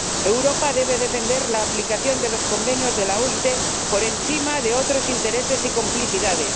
Europa debe defender la aplicación de los convenios de la OIT, por encima de otros intereses y complicidades.